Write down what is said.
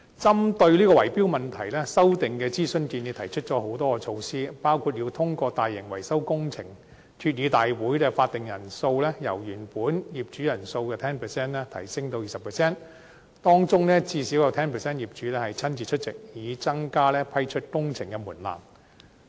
針對圍標問題，建議的修訂提出了多項措施，包括要通過大型維修工程，決議大會法定人數由原來業主人數的 10% 提高至 20%， 當中最少 10% 業主親自出席，以提高批出工程的門檻。